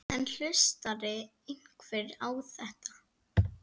En hlustar einhver á þetta?